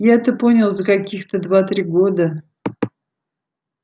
я это понял за каких-то два-три года